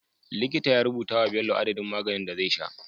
Likita ya rubuta wa Bello adadin maganin da zai sha